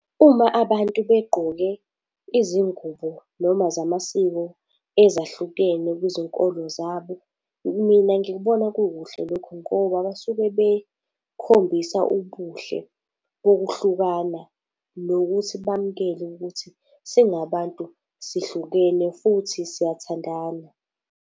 Uma abantu begqoke izingubo noma zamasiko ezahlukene kwizinkolo zabo, mina ngikubona kukuhle lokho ngoba basuke bekhombisa ubuhle bokuhlukana nokuthi bamukele ukuthi singabantu sihlukene futhi siyathandana.